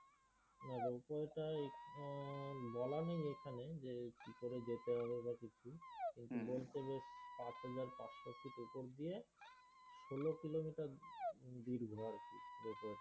ropoe টায় উম বলা নেই এখানে যে কি করে যেতে হবে বা কিছু কিন্তু বলছে যে পাঁচ হাজার পাঁচশো feet উপর দিয়ে ষোল দীর্ঘ আরকি ropoe